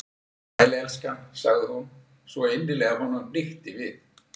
Sæll, elskan- sagði hún, svo innilega að honum hnykkti við.